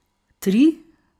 Tri?